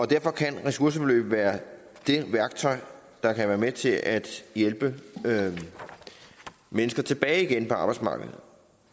derfor kan ressourceforløb være det værktøj der kan være med til at hjælpe mennesker tilbage på arbejdsmarkedet